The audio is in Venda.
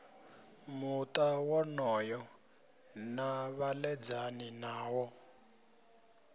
muta wonoyo na vhaledzani nawo